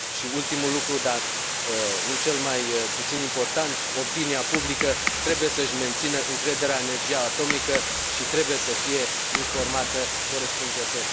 Ultimul lucru, dar nu cel mai puțin important, opinia publică trebuie să își mențină încrederea în energia atomică și trebuie să fie informată corespunzător.